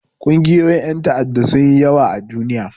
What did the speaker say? Ƙungiyoyin ƴan ta'adda sun yi yawa a duniya.